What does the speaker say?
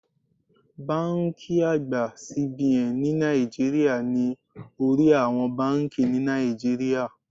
Báńkì àgbà CBN ní Naijiria ni orí àwọn báńkì ni Nàìjíríà.